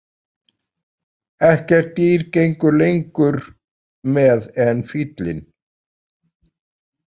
Ekkert dýr gengur lengur með en fíllinn.